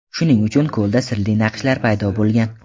Shuning uchun ko‘lda sirli naqshlar paydo bo‘lgan.